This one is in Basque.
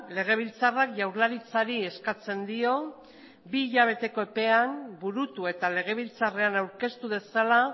legebiltzarrak jaurlaritzari eskatzen dio bi hilabeteko epean burutu eta legebiltzarrean aurkeztu dezala